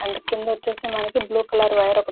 క్రింద వచ్చేసి మనకి బ్లూ కలర్ వైర్ ఒకటి ఉం --